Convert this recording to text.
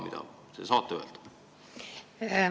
Mida te saate öelda?